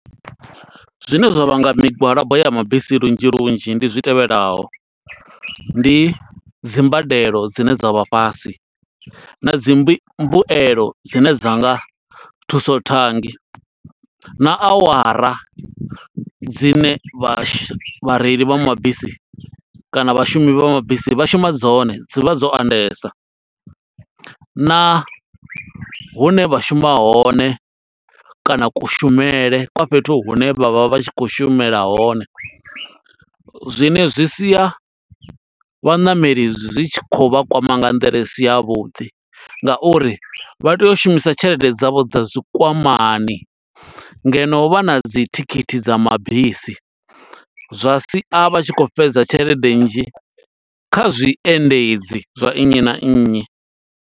Zwine zwa vhanga migwalabo ya mabisi lunzhi lunzhi ndi zwi tevhelaho, ndi dzi mbadelo dzine dza vha fhasi, na dzi mbu mbuelo dzine dza nga thusothangi, na awara dzine vha shu, vhareili vha mabisi kana vhashumi vha mabisi vha shuma dzone, dzi vha dzo andesa. Na hune vha shuma hone, kana kushumele kwa fhethu hune vha vha vha tshi khou shumela hone, zwine zwi sia vhaṋameli zwi tshi khou vha kwama nga nḓila isi ya vhuḓi. Nga uri vha tea u shumisa tshelede dzavho dza zwikwamani ngeno vha na dzi thikhithi dza mabisi, zwa si a, vha tshi khou fhedza tshelede nnzhi, kha zwi endedzi zwa nnyi na nnyi.